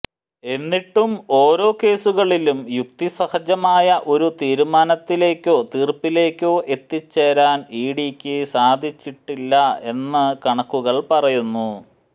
എന്നിട്ടും ഓരോ കേസുകളിലും യുക്തിസഹജമായ ഒരു തീരുമാനത്തിലേക്കോ തീർപ്പിലേക്കോ എത്തിച്ചേരാൻ ഇ ഡിക്ക് സാധിച്ചിട്ടില്ല എന്ന് കണക്കുകൾ പറയുന്നു